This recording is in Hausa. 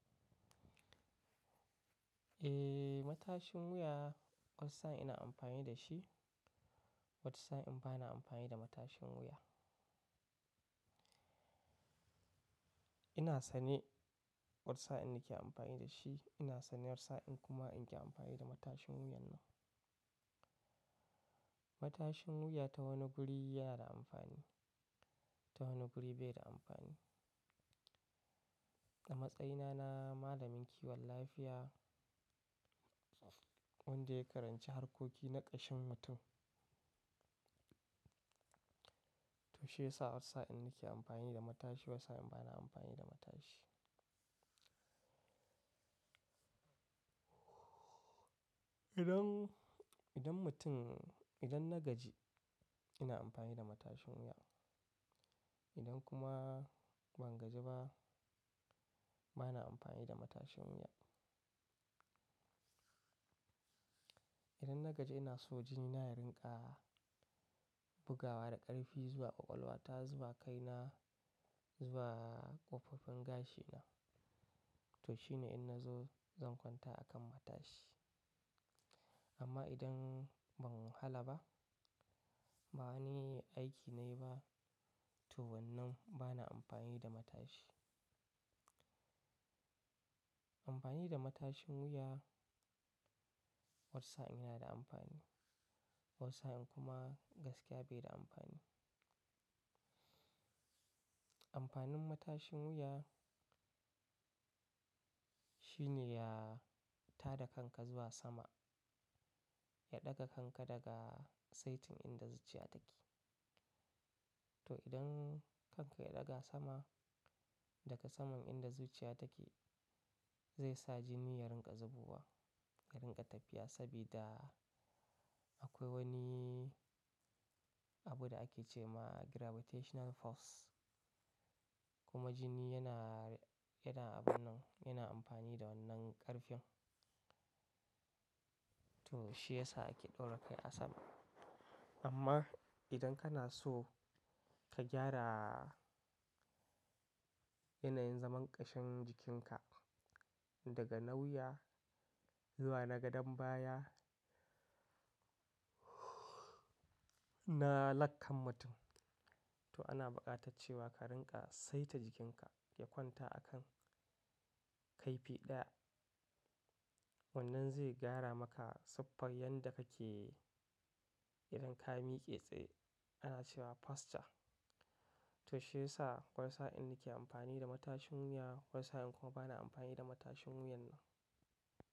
Eh, matashin wuya wata sa'in ina amfani da shi, wata sa'in ba na amfani da matashin wuya. Ina sane watasa'in nake amfani da shi, ina sane watasa'in kuma in ƙi amfani da matashin wuyan nan. Matashin wuya ta wani guri yana da amfani, ta wani guri bai da amfani. A matsayina na malamin kiwon lafiya wanda ya karanci harkoki na ƙashin mutum. To shi yasa watasa'in nake amfani da matashi, watasa'in bana amfani da matashi. Idan, idan mutum, idan na gaji ina amfani da matashin wuya. Idan kuma ban gaji ba bana amfani da matashin wuya. Idan na gaji ina so jini na ya rinƙa bugawa da ƙarfi zuwa ƙwaƙwalwa ta, zuwa kai na, zuwa ƙofofin gashi na. To shine in na zo zan kwanta a kan matashi. Amma idan ban wahala ba, ba wani aiki na yi ba, to wannan bana amfani da matashi. Amfani da matashin wuya wasa ina da amfani, wasa in kuma gaskiya bai da amfani. Amfanin matashin wuya shine ya tada kanka zuwa sama, ya ɗaga kanka daga saitin inda zuciya take. To idan kanka ya ɗaga sama daga saman inda zuciya take, zai sa jini ya rinƙa zubowa, ya rinƙa tafiya sabida akwai wani abu da ake ce ma gravitational force. Kuma jini yana, yana abun nan, yana amfani da wannan ƙarfin. To shi yasa ake ɗaura kai a sama. Amma idan kana so ka gyara yanayin zaman ƙashin jikinka daga na wuya zuwa na gadan baya na lakkan mutum. To ana buƙatar cewa ka rinƙa saita jikinka ki kwanta a kan kaifi ɗaya. Wannan zai gyara maka siffar yadda kake idan ka miƙe tsaye ana cewa posture. To shi yasa wasa in nake amfani da matashin wuya, wasa in kuma bana amfani da matashin wuyan nan.